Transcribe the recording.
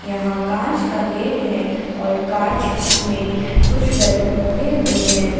यहां कांच का गेट है और कांच में कुछ बैलून लगे हुए हैं।